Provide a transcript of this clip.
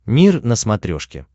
мир на смотрешке